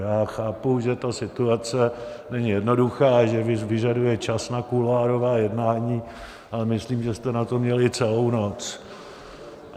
Já chápu, že ta situace není jednoduchá, že vyžaduje čas na kuloárová jednání, ale myslím, že jste na to měli celou noc.